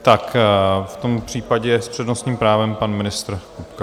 Tak v tom případě s přednostním právem pan ministr Kupka.